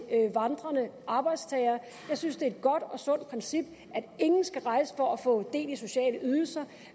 vandrende arbejdstagere jeg synes det er godt og sundt princip at ingen skal rejse for at få del i sociale ydelser